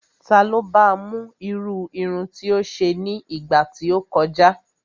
Ta ló ba mú irú irun tí ó ṣe ní ìgbà tí ó kọjá?